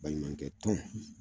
Baɲumankɛ tɔn